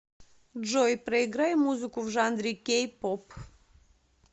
джой проиграй музыку в жанре кей поп